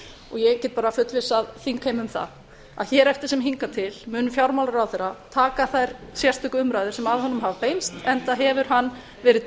ég get bara fullvissað þingheim um það að hér eftir sem hingað til mun fjármálaráðherra taka þær sérstöku umræður sem að honum hafa beinst enda hefur hann verið